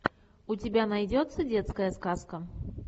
у тебя найдется детская сказка